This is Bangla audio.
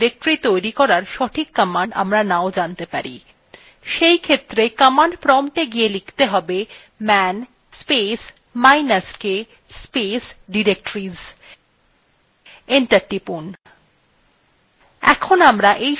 সেইক্ষেত্রে command promptwe গিয়ে লিখতে হবেman space minus k space directories enter টিপুন